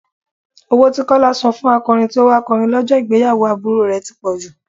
Owó tí Kọ́lá san fún akọrin tí ó wà kọrin lọ́jọ́ ìgbéyàwó àbúrò rẹ̀ ti pọ̀jù.